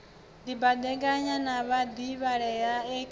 dibadekanya na vhadivhalea e khaedu